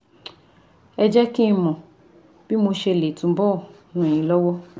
Ẹ jẹ́ kí n mọ bí mo ṣe lè túbọ̀ ràn yín lọ́wọ́